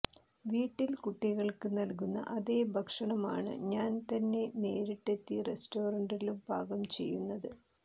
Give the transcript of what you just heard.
വീട്ടിൽ കുട്ടികൾക്ക് നൽകുന്ന അതേഭക്ഷണം ആണ് ഞാൻ തന്നെ നേരിട്ടെത്തി റെസ്റ്റോറൻറിലും പാകം ചെയ്യുന്നത്